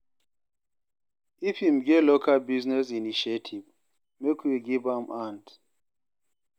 If im get local business initiative, make we give am hand.